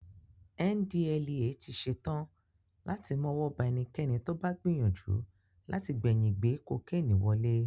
NDLEA ti ṣe tán láti mọ́wọ́ ba ẹnikẹ́ni tó bá gbìyànjú láti gbẹ̀yìn gbé kokénì wọlé